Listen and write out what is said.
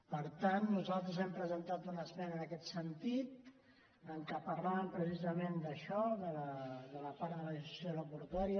per tant nosaltres hem presentat una esmena en aquest sentit en què parlàvem precisament d’això de la part de la liberalització aeroportuària